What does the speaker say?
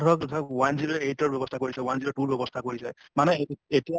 ধৰক one zero eight ৰ ব্য়ৱস্থা কৰিছে, one zero two ৰ ব্য়ৱস্থা কৰিছে মানে এতিয়া